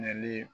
Nali